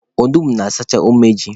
Onugbu na-asachakwa umeju.